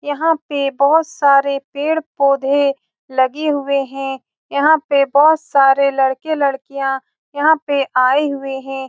यहाँ पे बोहोत सारे पेड़-पौधे लगे हुए है। यहाँ पे बोहोत सारे लड़के लड़कियां यहाँ पे आये हुए है।